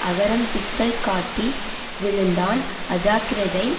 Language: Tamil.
அகரம் சிக்கல் காட்டி விழுந்தான் அஜாக்கிரதை